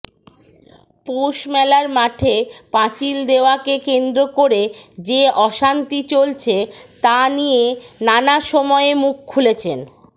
পৌষমেলার মাঠে পাঁচিল দেওয়াকে কেন্দ্র করে যে অশান্তি চলছে তা নিয়ে নানা সময়ে মুখ খুলেছেন